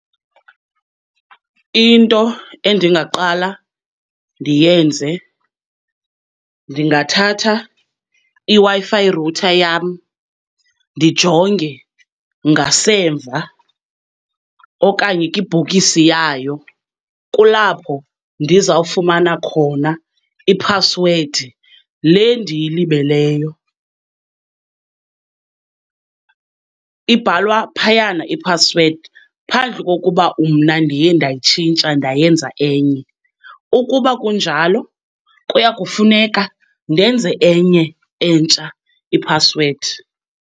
Into endingaqala ndiyenze, ndingathatha iWi-Fi router yam ndijonge ngasemva okanye kwibhokisi yayo, kulapho ndizawufumana khona iphasiwedi le ndiyilibeleyo. Ibhalwa phayana iphasiwedi, phandle kokuba umna ndiye ndayitshintsha ndayenza enye. Ukuba kunjalo, kuya kufuneka ndenze enye entsha iphasiwedi.